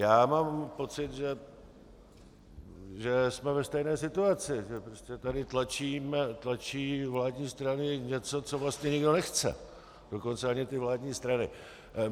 Já mám pocit, že jsme ve stejné situaci, že prostě tady tlačí vládní strany něco, co vlastně nikdo nechce, dokonce ani ty vládní strany.